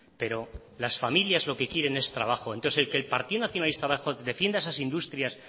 pero las familias lo que quieren es trabajo entonces el partido nacionalista vasco defiende a esas industrias